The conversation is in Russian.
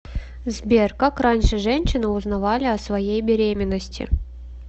сбер как раньше женщины узнавали о своей беременности